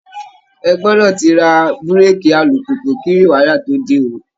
Ẹ gbọdọ̀ ti ra búrèèkì alùpùpù kí rìwáyà tó dé ó!